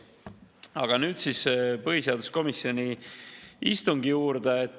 Aga nüüd siis põhiseaduskomisjoni istungi juurde.